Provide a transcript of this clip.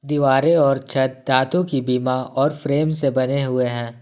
दीवारें और छत धातु की बीमा और फ्रेम से बने हुए हैं।